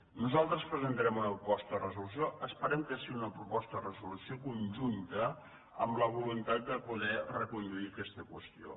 nosaltres presentarem una proposta de resolució esperem que sigui una proposta de resolució conjunta amb la voluntat de poder reconduir aquesta qüestió